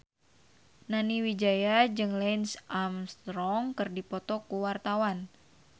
Nani Wijaya jeung Lance Armstrong keur dipoto ku wartawan